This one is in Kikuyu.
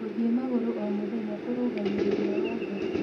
Gũthĩe magũrũ oh mũthenya kũrũngagĩrĩrĩa wa ngoro